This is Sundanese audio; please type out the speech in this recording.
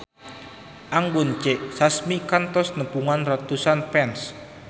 Anggun C. Sasmi kantos nepungan ratusan fans